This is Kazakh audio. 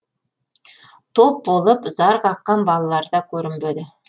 топ болып зар қаққан балаларда көрінбеді